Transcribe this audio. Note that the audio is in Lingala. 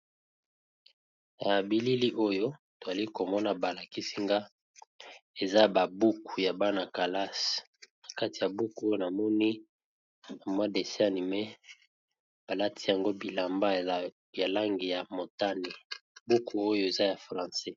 Na bilili oyo tozali komona balakisinga eza ba buku ya bana kelase na kati ya buku oyo namoni na mwa dese anime balati yango bilamba yalangi ya motani buku oyo eza ya francais.